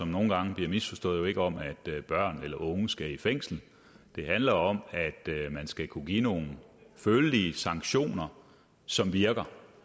nogle gange misforstået jo ikke om at børn eller unge skal i fængsel det handler om at man skal kunne give nogle følelige sanktioner som virker